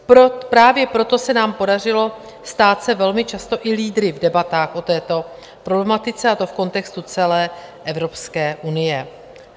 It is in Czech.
Právě proto se nám podařilo stát se velmi často i lídry v debatách o této problematice, a to v kontextu celé Evropské unie.